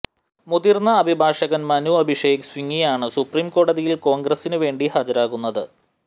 മുതിര്ന്ന അഭിഭാഷകൻ മനു അഭിഷേക് സിംങ്വിയാണ് സുപ്രീം കോടതിയിൽ കോൺഗ്രസിന് വേണ്ടി ഹാജരാകുന്നത്